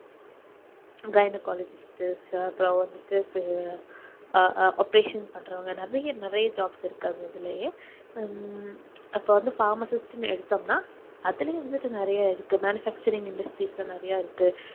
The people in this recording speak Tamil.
gynecologist இருக்கு அப்பறம் வந்துட்டு அஹ் operation பண்றவங்க நிறைய நிறைய jobs இருக்கு அதுலேயே ஹம் அப்போ வந்து pharmacist ன்னு எடுத்தோம்னா அதுலேயே வந்துட்டு நிறைய இருக்கு manufacturing industry இப்போ நிறைய இருக்கு